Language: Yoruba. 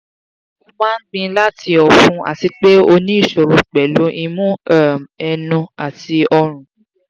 o ma n gbin lati ofun ati pe o ni isoro pelu imu um enu ati orun